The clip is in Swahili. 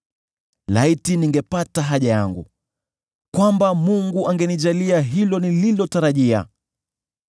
“Laiti ningepata haja yangu, kwamba Mungu angenijalia hilo nililotarajia,